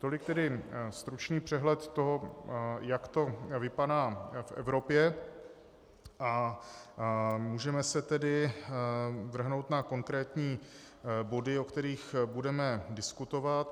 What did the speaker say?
Tolik tedy stručný přehled toho, jak to vypadá v Evropě, a můžeme se tedy vrhnout na konkrétní body, o kterých budeme diskutovat.